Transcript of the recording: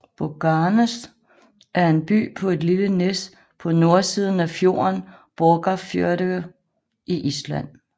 Borgarnes er en by på et lille næs på nordsiden af fjorden Borgarfjörður i Island